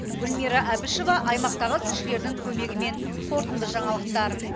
гүлмира әбішева аймақтағы тілшілердің көмегімен қорытынды жаңалықтар